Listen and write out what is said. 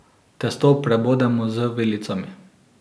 Testo prebodemo z vilicami.